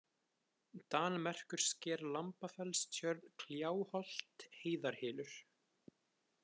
Danmerkursker, Lambafellstjörn, Kljáholt, Heiðarhylur